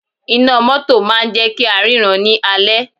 Iná mótò máà ń jẹ́ kí á ríran ní alẹ́.